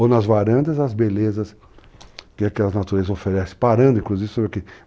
ou nas varandas as belezas que aquelas naturezas oferecem, parando inclusive sobre aqui.